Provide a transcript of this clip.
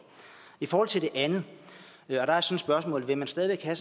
i forhold til det andet har jeg så et spørgsmål vil man stadig væk have